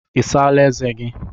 Ị saala ezé gị?